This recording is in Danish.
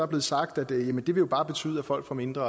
blevet sagt at det jo bare vil betyde at folk får mindre